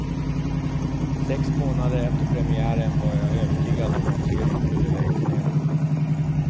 Sex månader efter premiären var jag övertygad om att serien skulle läggas ned.